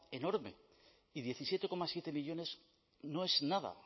enorme y diecisiete coma siete millónes no es nada